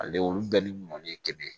Ale olu bɛɛ ni mɔni ye kelen ye